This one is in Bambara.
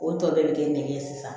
O tɔ bɛɛ bɛ kɛ ne ye sisan